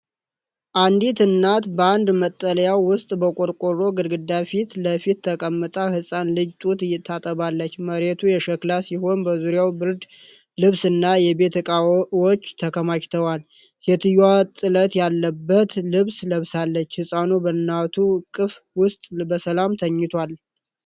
አንዲት እናት በአንድ መጠለያ ውስጥ በቆርቆሮ ግድግዳ ፊት ለፊት ተቀምጣ ህፃን ልጅ ጡት ታጠባለች። መሬቱ የሸክላ ሲሆን በዙሪያው ብርድ ልብስና የቤት እቃዎች ተከማችተዋል። ሴትየዋ ጥለት ያለበት ልብስ ለብሳለች። ህፃኑ በእናቱ እቅፍ ውስጥ በሰላም ተኝቷል?